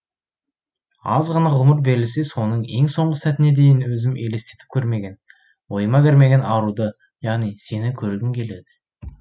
аз ғана ғұмыр берілсе соның ең соңғы сәтіне дейін өзім елестетіп көрмеген ойыма кірмеген аруды яғни сені көргім келеді